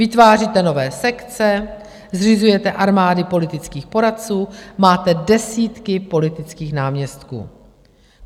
Vytváříte nové sekce, zřizujete armády politických poradců, máte desítky politických náměstků.